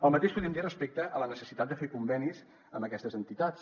el mateix podríem dir respecte a la necessitat de fer convenis amb aquestes entitats